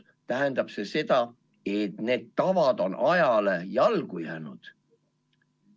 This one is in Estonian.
See tähendab seda, et need tavad on ajale jalgu jäänud.